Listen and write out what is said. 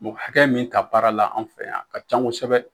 Mɔgɔ hakɛ min ta baara la an fɛ yan a ka ca kosɛbɛ